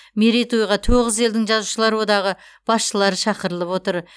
мерейтойға тоғыз елдің жазушылар одағы басшылары шақырылып отыр